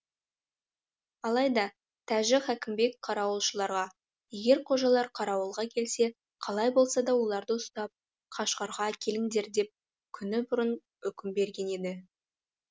алайда тәжі хәкімбек қарауылшыларға егер қожалар қарауылға келсе қалай болса да оларды ұстап қашғарға әкеліңдер деп күні бұрын үкім берген еді